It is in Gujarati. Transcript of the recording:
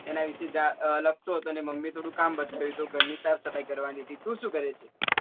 એના વિશે લખતો હતો ને મમ્મી થોડું કામ બતાવ્યું હતું ઘર ની સાફ સફાઈ કરવા ની હતી તું શું કરે છે?